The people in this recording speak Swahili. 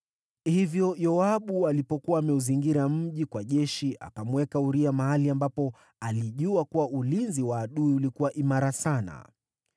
Hivyo Yoabu alipokuwa ameuzingira mji kwa jeshi, akamweka Uria mahali ambapo alijua kuwa ulinzi wa adui ulikuwa imara sana.